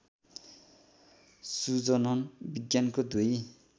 सुजनन विज्ञानको दुई